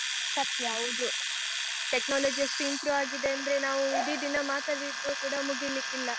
ಸತ್ಯ ಹೌದು. technology ಎಷ್ಟು improve ಆಗಿದೆ ಅಂದ್ರೆ, ನಾವು ಇಡೀ ದಿನ ಮಾತಾಡಿದ್ರು ಕೂಡ ಮುಗಿಲಿಕ್ಕಿಲ್ಲ.